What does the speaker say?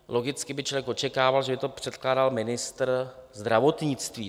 Logicky by člověk očekával, že to bude předkládat ministr zdravotnictví.